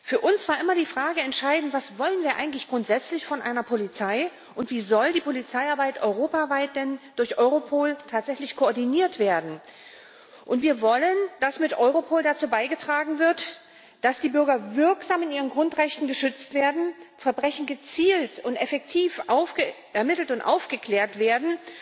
Für uns war immer die Frage entscheidend Was wollen wir eigentlich grundsätzlich von einer Polizei, und wie soll die Polizeiarbeit denn europaweit durch Europol tatsächlich koordiniert werden? Wir wollen, dass mit Europol dazu beigetragen wird, dass die Bürger wirksam in ihren Grundrechten geschützt werden, Verbrechen gezielt und effektiv ermittelt und aufgeklärt werden